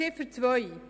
Zu Ziffer 2